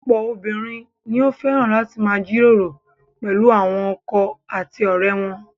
Ọ̀pọ̀ obìnrin ni ó fẹ́ràn láti máa jíròrò pẹ̀lú àwọn ọkọ àti ọ̀rẹ́ wọn.